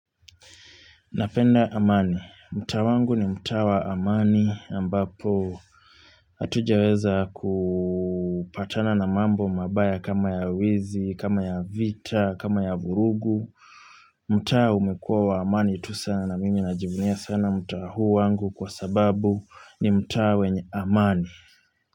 Napenda amani. Mtaa wangu ni mtaa wa amani ambapo hatujaweza kupatana na mambo mabaya kama ya wizi, kama ya vita, kama ya vurugu. Mtaa umekuwa wa amani tu sana na mimi najivunia sana mtaa huu wangu kwa sababu ni mtaa wenye amani.